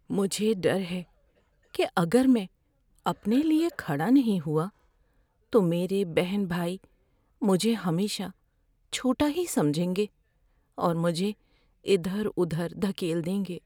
مجھے ڈر ہے کہ اگر میں اپنے لیے کھڑا نہیں ہوا تو میرے بہن بھائی مجھے ہمیشہ چھوٹا ہی سمجھیں گے اور مجھے ادھر ادھر دھکیل دیں گے۔